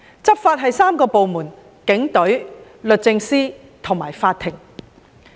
執法涉及3個部門，包括警隊、律政司和法庭。